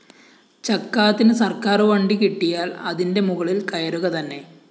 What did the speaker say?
ചക്കാത്തിന് സര്‍ക്കാറു വണ്ടി കിട്ടിയാല്‍ അതിന്റെ മുകളില്‍ കയറുകതന്നെ